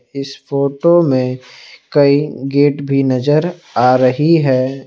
इस फोटो में कई गेट भी नजर आ रही है।